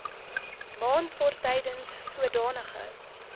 maand waartydens sodanige